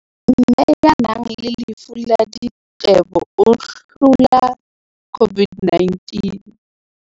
Mme ya nang le lefu la diqebo o hlola COVID-19